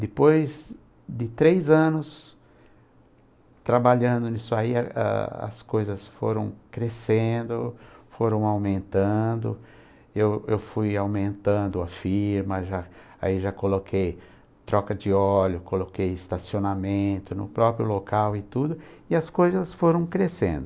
Depois de três anos trabalhando nisso aí, a as as coisas foram crescendo, foram aumentando, eu eu fui aumentando a firma, eu já, aí já coloquei troca de óleo, coloquei estacionamento no próprio local e tudo, e as coisas foram crescendo.